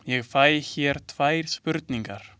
Ég fæ hér tvær spurningar.